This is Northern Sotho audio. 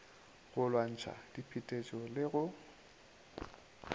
go lwantšha diphetetšo le go